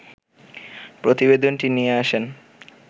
প্রতিবেদনটি দিয়ে আসেন